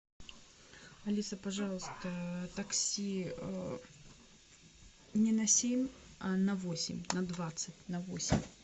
алиса пожалуйста такси не на семь а на восемь на двадцать на восемь